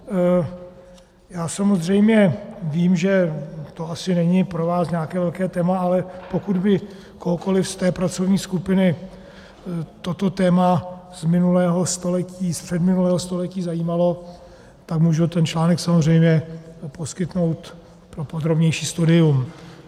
Já samozřejmě vím, že to asi není pro vás nějaké velké téma, ale pokud by kohokoli z té pracovní skupiny toto téma z minulého století, z předminulého století zajímalo, tak můžu ten článek samozřejmě poskytnout pro podrobnější studium.